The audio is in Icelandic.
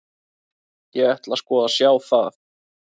Ég ætla sko að sjá það.